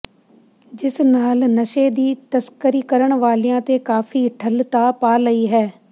ਜਿਸ ਨਾਲ ਨਸ਼ੇ ਦੀ ਤਸਕਰੀ ਕਰਨ ਵਾਲਿਆਂ ਤੇ ਕਾਫੀ ਠੱਲ ਤਾ ਪਾ ਲਈ ਹੈ